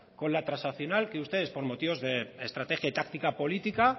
con la transaccional que ustedes por motivos de estrategia y de táctica política